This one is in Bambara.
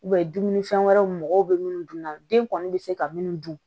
dumunifɛn wɛrɛw mɔgɔw be dun na den kɔni be se ka minnu dun